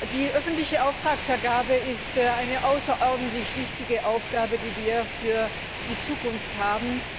Die öffentliche Auftragsvergabe ist eine außerordentlich wichtige Aufgabe, die wir für die Zukunft haben.